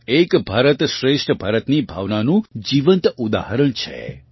આ એક ભારત શ્રેષ્ઠ ભારત ની ભાવનાનું જીવંત ઉદાહરણ છે